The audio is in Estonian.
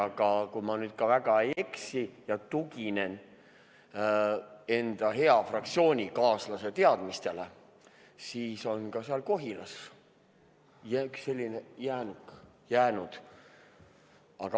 Aga kui ma nüüd väga ei eksi – tuginen ka enda hea fraktsioonikaaslase teadmistele –, siis ka Kohilas on üks selline alles jäänud.